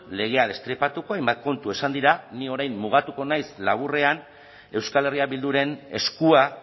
legea destripatuko hainbat kontu esan dira ni orain mugatuko naiz laburrean euskal herria bilduren eskua